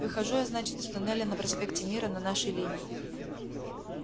выхожу я значит из туннеля на проспекте мира на нашей линии